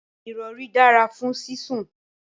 irori dara fun sisun